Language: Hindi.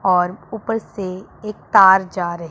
और ऊपर से एक तार जा रही--